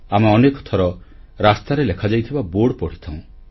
ଆମେ ଅନେକ ଥର ରାସ୍ତାରେ ଲେଖାଯାଇଥିବା ବୋର୍ଡ ପଢ଼ିଥାଉଁ